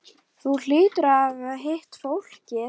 Þú hlýtur að hafa hitt fólkið.